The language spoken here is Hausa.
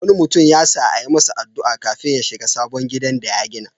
Wani mutum ya sa a yi masa addu'a kafin ya shiga sabon gidan da ya gina.